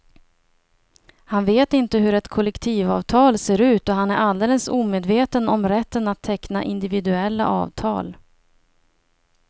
Han vet inte hur ett kollektivavtal ser ut och han är alldeles omedveten om rätten att teckna individuella avtal.